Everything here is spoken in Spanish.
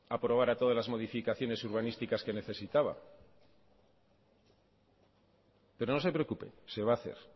aprobara todas las modificaciones urbanísticas que necesitaba pero no se preocupe se va a hacer